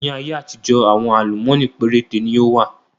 Ni ayé àtijọ́ àwọn àlùmọ́nì péréte ni ó wà